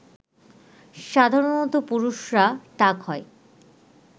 সাধারণত পুরুষরা টাক হয়